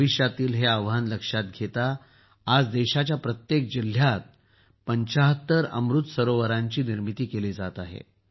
भविष्यातील हे आव्हान लक्षात घेता आज देशाच्या प्रत्येक जिल्ह्यात ७५ अमृत सरोवरांचे निर्माण केले जात आहे